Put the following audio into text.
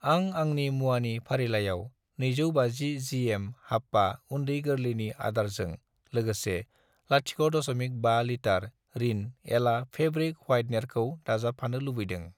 आं आंनि मुवानि फारिलाइयाव 250 जिएम हाप्पा उन्दै-गोरलैनि आदारजों लोगोसे 0.5 लिटार रिन एला फेब्रिक व्हायटेनारखौ दाजाबफानो लुबैदों।